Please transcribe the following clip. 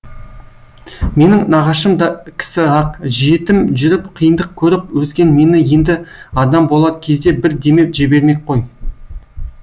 менің нағашым да кісі ақ жетім жүріп қиындық көріп өскен мені енді адам болар кезде бір демеп жібермек қой